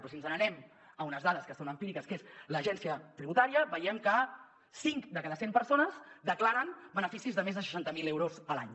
però si ens n’anem a unes dades que són empíriques que són de l’agència tributària veiem que cinc de cada cent persones declaren beneficis de més de seixanta mil euros l’any